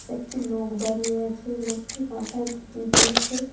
একটি লোক দাঁড়িয়ে আছে লোকটি মাথায় টুপি দিয়েছে।